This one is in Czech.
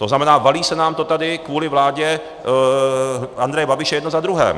To znamená, valí se nám to tady kvůli vládě Andreje Babiše jedno za druhým.